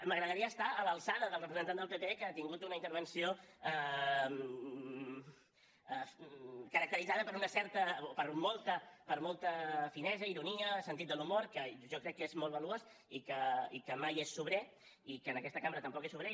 m’agradaria estar a l’alçada del representant del pp que ha tingut una intervenció caracteritzada per una certa o per molta finesa ironia sentit de l’humor que jo crec que és molt valuós i que mai és sobrer i que en aquesta cambra tampoc és sobrer